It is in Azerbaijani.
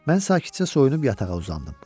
Mən sakitcə soyunub yatağa uzandım.